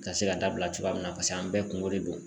Ka se ka dabila cogoya min na paseke an bɛɛ kungo de don